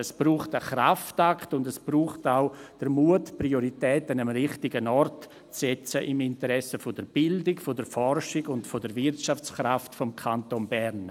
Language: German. Es braucht einen Kraftakt und es braucht auch den Mut, die Prioritäten am richtigen Ort zu setzen, im Interesse der Bildung, der Forschung und der Wirtschaftskraft des Kantons Bern.